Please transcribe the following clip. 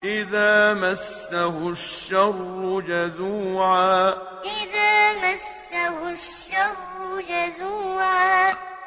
إِذَا مَسَّهُ الشَّرُّ جَزُوعًا إِذَا مَسَّهُ الشَّرُّ جَزُوعًا